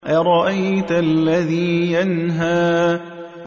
أَرَأَيْتَ الَّذِي يَنْهَىٰ